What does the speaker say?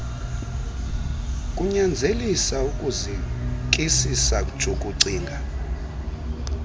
kunyanzelisa ukuzikisisa jukucinga